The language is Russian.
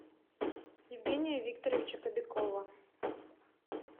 евгения викторовича кобякова